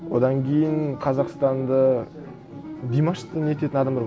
одан кейін қазақстанды димашты нететін адамдар